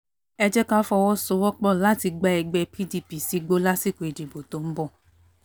ẹ jẹ́ ká fọwọ́sowọ́pọ̀ láti gba ẹgbẹ́ pdp sígbó lásìkò ìdìbò tó ń bọ̀